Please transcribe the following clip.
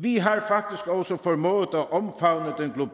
vi har faktisk også formået at omfavne